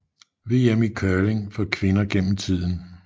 VM i curling for kvinder gennem tiden